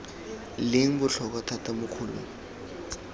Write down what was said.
leng botlhokwa thata mo kgolong